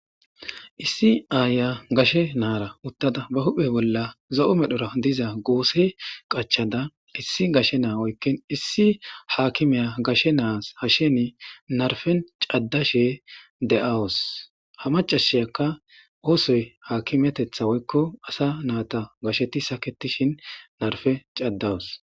Issi aaya gashe naara uttada ba huphe bolla zo7o medhora diza goose qachada issi gashe naa oykkin issi haakimiya gashe naas hasheni narfen caddashe de7awus ha macasheyakka oosoy haakimetetha woykko asa naata gasheti saketishin narfe caddawus.